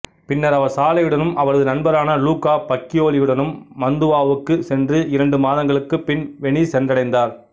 பின்னர் அவர் சாலையுடனும் அவரது நண்பரான லூக்கா பக்கியோலியுடனும் மந்துவாவுக்குச் சென்று இரண்டு மாதங்களுக்குப் பின் வெனிஸ் சென்றடைந்தார்